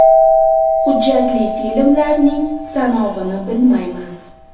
Hujjatli filmlarning sanog‘ini bilmayman.